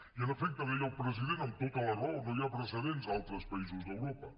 i en efecte deia el president amb tota la raó no hi ha precedents a altres països d’europa